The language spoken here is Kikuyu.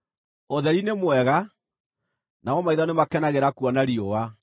Ũtheri nĩ mwega, namo maitho nĩmakenagĩra kuona riũa.